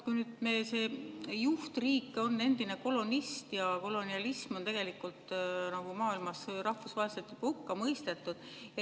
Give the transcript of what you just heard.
Nüüd, see juhtriik on endine kolonist ja kolonialism on maailmas rahvusvaheliselt juba hukka mõistetud.